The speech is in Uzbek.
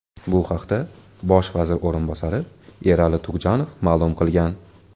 Bu haqda bosh vazir o‘rinbosari Erali Tugjanov ma’lum qilgan .